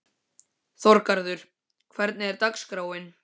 Þorgarður, hvernig er dagskráin?